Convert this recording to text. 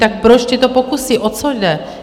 Tak proč tyto pokusy, o co jde?